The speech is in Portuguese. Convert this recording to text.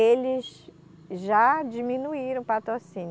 Eles já diminuíram o patrocínio.